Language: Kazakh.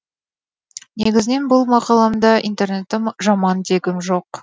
негізінен бұл мақаламда интернетті жаман дегім жоқ